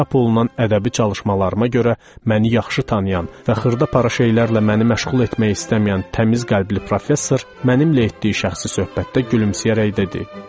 Çap olunan ədəbi çalışmalarıma görə məni yaxşı tanıyan və xırda para şeylərlə məni məşğul etmək istəməyən təmiz qəlbli professor mənimlə etdiyi şəxsi söhbətdə gülümsəyərək dedi: